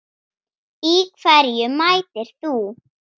Í hverju mætir þú?